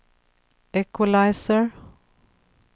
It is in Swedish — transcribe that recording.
equalizer